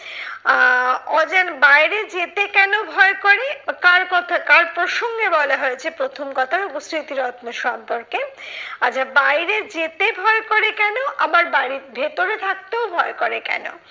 আহ অজান বাইরে যেতে কেন ভয় করে? কার কথা কার প্রসঙ্গে বলা হয়েছে প্রথম কথা স্মৃতিরত্ন সম্পর্কে। আচ্ছা বাইরে যেতে ভয় করে কেন আবার বাড়ির ভেতরে থাকতেও ভয় করে কেন?